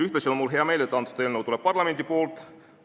Ühtlasi on mul hea meel, et antud eelnõu tuleb parlamendi poolt.